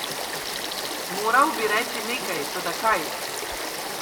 Moral bi reči nekaj, toda kaj?